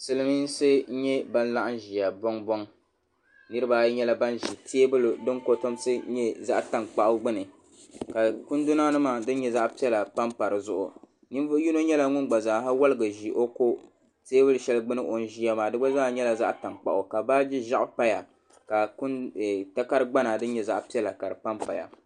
silimiinsi n-nyɛ ban laɣim ʒiya bɔŋbɔŋ niriba ayi nyɛla ban ʒi teebuli din kɔtɔmsi nyɛ zaɣ' tankpaɣu gbuni ka kunduna nima din nyɛ zaɣ' piɛla pa pa di zuɣu ninvuɣ' yino nyɛla ŋun gba zaa ha waligi ʒi o kɔ teebuli shɛli gbuuni o ʒiya maa di gba zaa nyɛla zaɣ' tankpaɣu ka baaji ʒɛɣu paya ka takar' gbana din nyɛ zaɣ' piɛla ka di pa paya.